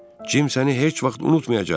Cim səni heç vaxt unutmayacaq.